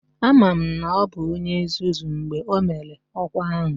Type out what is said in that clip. Ama m na ọ bụ onye nzuzu mgbe o mere ọkwa ahụ